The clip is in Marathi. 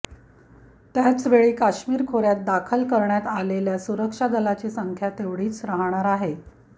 त्याचवेळी काश्मीर खोऱ्यात दाखल करण्यात आलेल्या सुरक्षा दलाची संख्या तेवढीच राहणार आहे